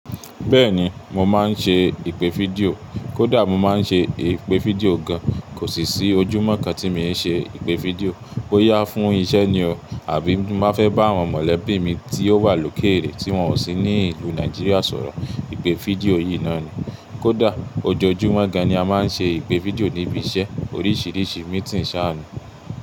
Bẹ́ẹ̀ni, mo máa ń ṣe ìpè fídíò. Kódà mo máa ń ṣe ìpè fídíò gan. Kò sì sí ojúmọ́ kan tí mi ò ṣe ìpè fídíò. Boyá fún isẹ́ ni o, àbí tin bá fẹ́ bá àwọn mọ̀lẹ́bí mi tí ó wà lókèèrè tí wọ́n ò sí ní ìlú Nigeria sọ̀rọ̀. Ìpè fídíò yìí náà ni. Kódà ojoojúmọ́ gan ni a máa ń ṣe ìpè fídíò níbi isẹ́. Oríṣìíríṣìí meeting sá ni.